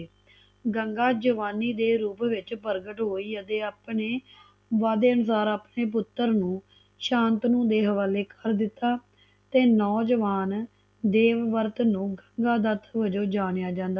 ਗੰਗਾ ਜਵਾਨੀ ਦੇ ਰੂਪ ਵਿਚ ਪ੍ਰਗਟ ਹੋਈ ਅਤੇ ਆਪਣੇ ਵਾਅਦੇ ਅਨੁਸਾਰ ਆਪਣੇ ਪੁੱਤਰ ਨੂੰ ਸ਼ਾਂਤਨੂੰ ਦੇ ਹਵਾਲੇ ਕਰ ਦਿੱਤਾ ਤੇ ਨੌਜਵਾਨ ਦੇਵਵਰਤ ਨੂੰ ਜਣਿਆ